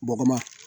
Bɔgɔma